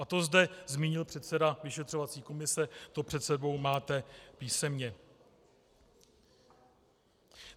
A to zde zmínil předseda vyšetřovací komise, to před sebou máte písemně.